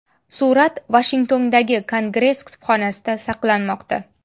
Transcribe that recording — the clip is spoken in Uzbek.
Surat Vashingtondagi Kongress kutubxonasida saqlanmoqda.